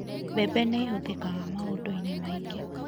Mbembe nĩ ĩhũthĩkaga maũndũ-inĩ maingĩ.